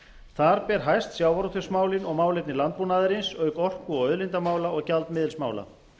þar ber hæst sjávarútvegsmálin og málefni landbúnaðarins auk orku og auðlindamála og gjaldmiðilsmála